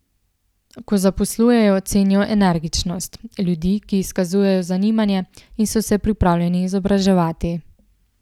Ko zaposlujejo, cenijo energičnost, ljudi, ki izkazujejo zanimanje in so se pripravljeni izobraževati.